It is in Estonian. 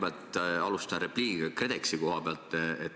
Ma alustan repliigiga KredExi koha pealt.